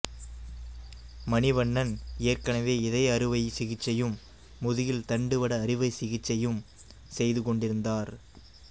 மணிவண்ணன் ஏற்கனவே இதய அறுவைச் சிகிச்சையும் முதுகில் தண்டுவட அறுவைச் சிகிச்சையும் செய்து கொண்டிருந்தார்